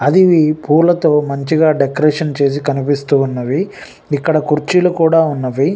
అది పూలతో మంచిగా డెకరేషన్ చేసి కనిపిస్తూ ఉన్నవి.ఇక్కడ కుర్చీలు కూడా ఉన్నవి.